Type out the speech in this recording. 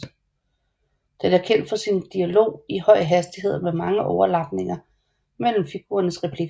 Den er kendt for sin dialog i høj hastighed med mange overlapninger mellem figurernes replikker